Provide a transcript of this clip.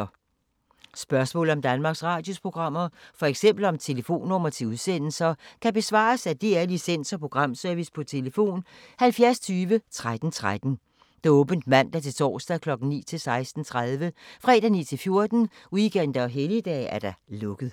Spørgsmål om Danmarks Radios programmer, f.eks. om telefonnumre til udsendelser, kan besvares af DR Licens- og Programservice: tlf. 70 20 13 13, åbent mandag-torsdag 9.00-16.30, fredag 9.00-14.00, weekender og helligdage: lukket.